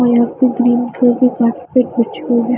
ओर यह पर green colour के कार्पेट बिछे हुए है।